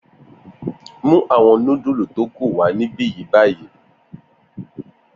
Mu awọn nudulu to ku wa nibi ni bayi!